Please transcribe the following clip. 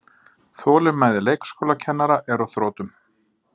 Þolinmæði leikskólakennara er á þrotum